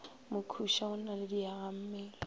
mokhuša o na le diagammele